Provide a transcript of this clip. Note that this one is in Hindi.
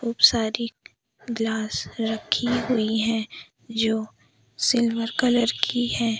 खूब सारी ग्लास रखी हुई है जो सिल्वर कलर की है।